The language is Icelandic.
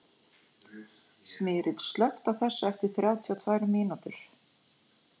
Smyrill, slökktu á þessu eftir þrjátíu og tvær mínútur.